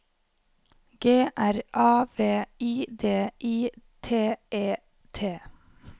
G R A V I D I T E T